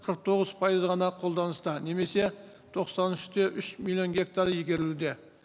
қырық тоғыз пайызы ғана қолданыста немесе тоқсан үш те үш миллион гектар игерілуде